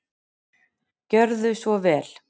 Gjörðu svo vel.